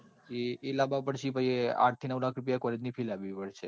એ લાવવા પડશે પછી આઠ થી નવ લાખ રૂપિયા college fee લાવવી પડશે.